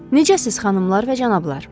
Necəsiz xanımlar və cənablar?